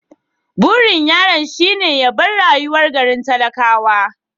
Burin yaron shine ya bar rayuwar garin talakawa.